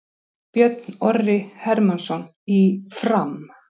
Björn Orri Hermannsson í Fram